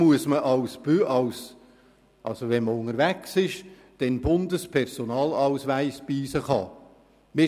Ist man in Deutschland unterwegs, muss man den Bundespersonalausweis bei sich haben.